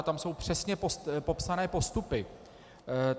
A tam jsou přesně popsané postupy.